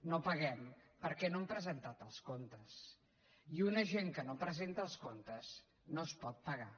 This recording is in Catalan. no paguem perquè no han presentat els comptes i a una gent que no presenta els comptes no es pot pagar